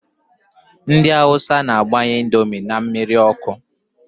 Ndị awusa na-abanye índomi n' mmiri ọkụ.